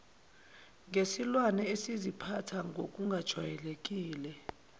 ngesilwane esiziphatha ngokungajwayelekile